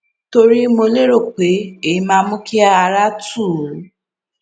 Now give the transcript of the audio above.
torí mo lérò pé èyí máa mú kí ara tù ú